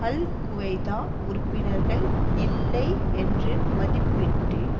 அல் Qaeda உறுப்பினர்கள் இல்லை என்று மதிப்பிட்டு